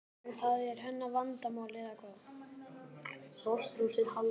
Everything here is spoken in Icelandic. En það er hennar vandamál eða hvað?